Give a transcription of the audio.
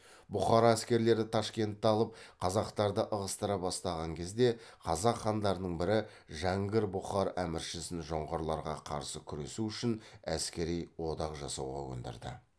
бұқара әскерлері ташкентті алып қазақтарды ығыстыра бастапан кезде қазақ хандарының бірі жәңгір бұқар әміршісін жоңғарларға қарсы күресу үшін әскери одақ жасауға көндірді